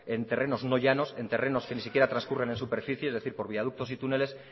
en terrenos no llanos en terrenos que ni siquiera transcurren en superficie es decir por viaductos y túneles